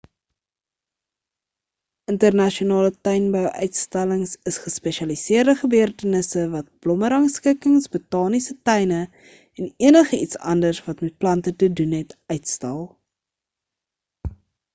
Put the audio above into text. internasionale tuinbou-uitstallings is gespesialiseerde gebeurtenisse wat blommerangskikkings botaniese tuine en enige iets anders wat met plante te doen het uitstal